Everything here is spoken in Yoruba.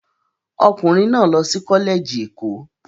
Ọkùnrin náà lọ sí Kọ́lẹ́ẹ̀jì Ẹ̀kọ́.